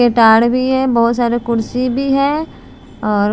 भी है बहुत सारी कुर्सी भी है और--